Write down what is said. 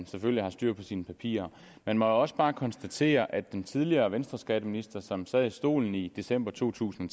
selvfølgelig styr på sine papirer man må også bare konstatere at den tidligere venstreskatteminister som sad i stolen i december to tusind